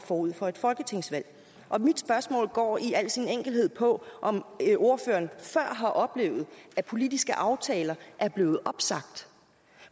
forud for et folketingsvalg mit spørgsmål går i al sin enkelhed på om ordføreren før har oplevet at politiske aftaler er blevet opsagt